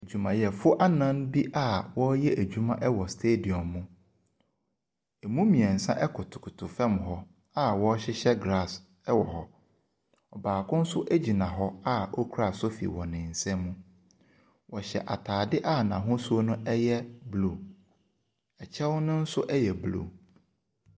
Adwumayɛfo anan bi a wɔreyɛ adwuma wɔ stadium mu. Emu mmiɛnsa kotokoto fam hɔ a wɔrehyehyɛ glass wɔ hɔ. Ɔbaako nso gyina hɔ a okura sofi wɔ nsam. Ɔhyɛ ataade a n'asuo no yɛ blue. Ɛkyɛw no nso yɛ blue.